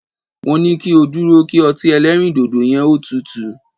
Mo ní ko dúró kí ọtí ẹlẹ́rìndòdò yẹ́n ó tutù!